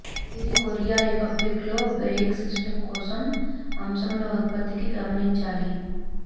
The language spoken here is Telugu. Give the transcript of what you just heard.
ఇది కొరియా రిపబ్లిక్లో బ్రేక్ సిస్టమ్ కోసం అంశముల ఉత్పత్తికి గమనించాలి